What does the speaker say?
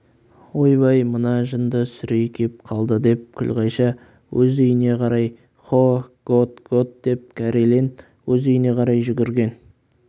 ойбай мына жынды сүрей кеп қалдыдеп күлғайша өз үйіне қарай хо готт готт деп кәрелен өз үйіне қарай жүгірген